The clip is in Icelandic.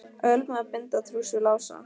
Ölmu að binda trúss við Lása.